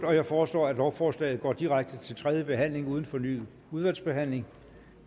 jeg foreslår at lovforslaget går direkte til tredje behandling uden fornyet udvalgsbehandling